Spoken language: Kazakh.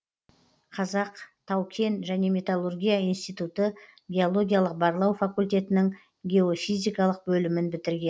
қазақ тау кен және металлургия институты геологиялық барлау факультетінің геофизикалық бөлімін бітірген